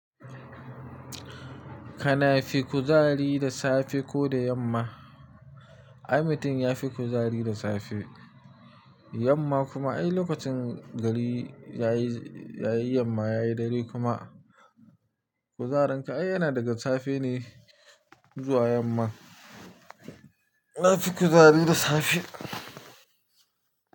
Kana fi kuzari da safe ko da yamma? Ai mutum ya fi kuzari da safe, yamma kuma ai lokacin gari yayi, yayi yamma yayi dare kuma kuzarin ka ai yana daga safe ne zuwa yamma. Nafi kuzari da safe.